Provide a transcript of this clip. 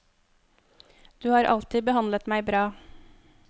Du har alltid behandlet meg bra.